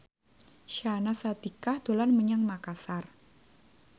Syahnaz Sadiqah dolan menyang Makasar